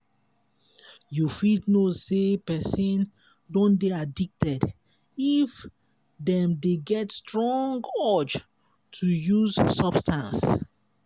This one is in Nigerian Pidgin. you fit know sey person don dey addicted if dem dey get strong urge to use substance